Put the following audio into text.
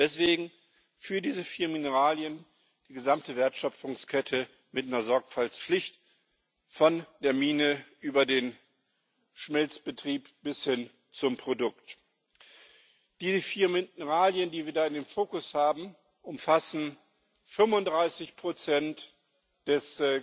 Deswegen Für diese vier Mineralien die gesamte Wertschöpfungskette mit einer Sorgfaltspflicht, von der Mine über den Schmelzbetrieb bis hin zum Produkt. Diese vier Mineralien, die wir in den Fokus genommen haben, umfassen 35 des